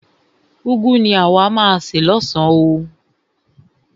Úgwu ni àwa má a se lọ́san oo.